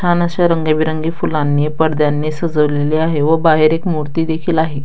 छान अशी रंगबिरंगी फुलांनी पडद्यांनी सजवलेले आहे व बाहेर एक मूर्ती देखील आहे.